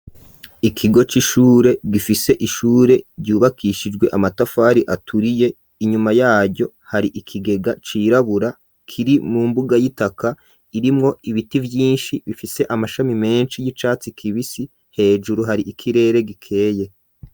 Ikigo c'ishure gifise ishure ryubakishijwe amatafari aturiye inyuma yaryo hari ikigega cirabura kiri mu mbuga y'itaka irimwo ibiti vyinshi bifise amashami menshi y'icatsi kibisi hejuru hari ikirere gikeye.